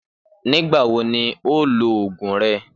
Nígbà wo ni o óò loògùn re?